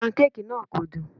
Pancake náà kò dùn.